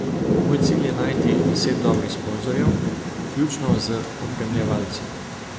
Moj cilj je najti deset dobrih sponzorjev, vključno z opremljevalci.